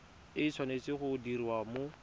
e tshwanetse go diriwa mo